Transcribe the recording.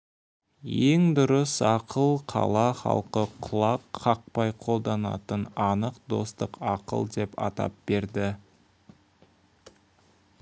ең дұрыс ақыл қала халқы құлақ қақпай қолданатын анық достық ақыл деп атап берді